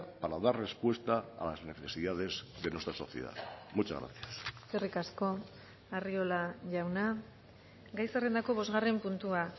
para dar respuesta a las necesidades de nuestra sociedad muchas gracias eskerrik asko arriola jauna gai zerrendako bosgarren puntua